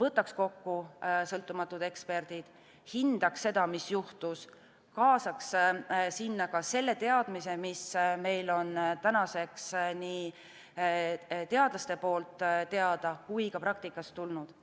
võtaks kokku sõltumatud eksperdid, hindaks seda, mis juhtus, kaasaks sinna ka selle teadmise, mis meil on tänaseks nii teadlastelt kui ka praktikas tulnud.